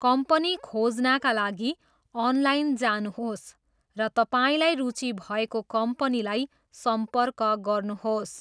Company खोज्नाका लागि online जानुहोस् र तपाईँलाई रुचि भएको कम्पनीलाई सम्पर्क गर्नुहोस्।